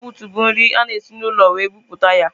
Nri mama pụtụ bụ nri a na esi n'ụlọ wee buputa ya.